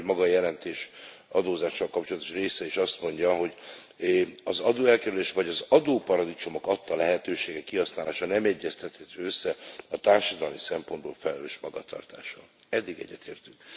Olyannyira, hogy maga a jelentés adózással kapcsolatos része is azt mondja, hogy az adóelkerülés vagy az adóparadicsomok adta lehetőségek kihasználása nem egyeztethető össze a társadalmi szempontból felelős magatartással eddig egyetértünk.